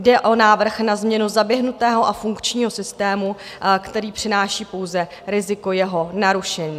Jde o návrh na změnu zaběhnutého a funkčního systému, který přináší pouze riziko jeho narušení.